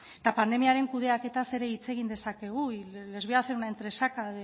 eta pandemiaren kudeaketaz ere hitz egin dezakegu y les voy a hacer una entresaca